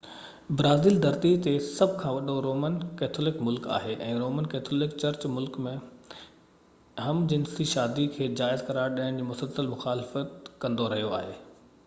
Brazil ڌرتي تي سڀ کان وڏو رومن ڪيٿولڪ ملڪ آهي ۽ رومن ڪيٿولڪ چرچ ملڪ ۾ هم-جنسي شادي کي جائز قرار ڏيڻ جي مسلسل مخالفت ڪندو رهيو آهي